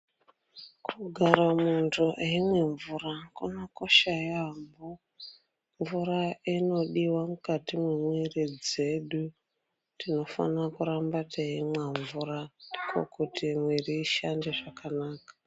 Kugara munthu eimwe mvura kunokosha yaambo mvura inodiwe mukati memwiri dzedu tinofanire kuramba teimwe mvura ndookuti mwiri ishande zvakanaka.